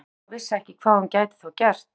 Lóa Lóa vissi ekki hvað hún gæti þá gert.